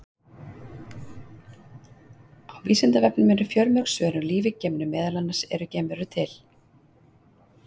Á Vísindavefnum eru fjölmörg svör um líf í geimnum, meðal annars: Eru geimverur til?